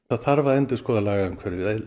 það þarf að endurskoða lagaumhverfið